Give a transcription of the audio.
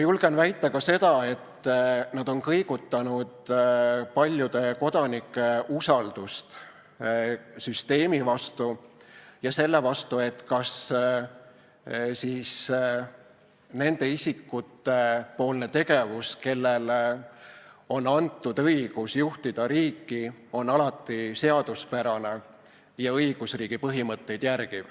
Julgen väita ka seda, et nad on kõigutanud paljude kodanike usaldust süsteemi vastu ja selle vastu, kas nende isikute tegevus, kellele on antud õigus juhtida riiki, on alati seaduspärane ja järgib õigusriigi põhimõtteid.